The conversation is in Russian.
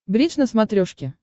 бридж на смотрешке